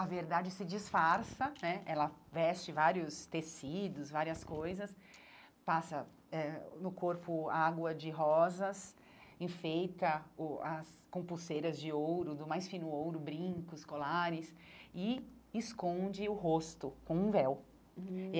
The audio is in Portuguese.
a verdade se disfarça né, ela veste vários tecidos, várias coisas, passa eh no corpo água de rosas, enfeita o as com pulseiras de ouro, do mais fino ouro, brincos, colares, e esconde o rosto com um véu hum.